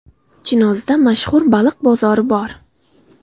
Chinozda mashhur baliq bozori bor.